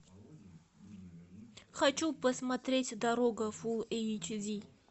хочу посмотреть дорога фул эйч ди